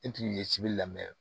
E tun ye sibiri la mɛ